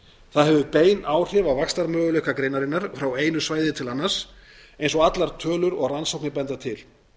það hefur bein áhrif á vaxtarmöguleika greinarinnar frá einu svæði til annars eins og allar tölur og rannsóknir benda til